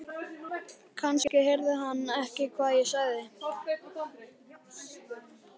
Kannski heyrði hann ekki hvað ég sagði.